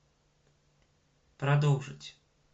продолжить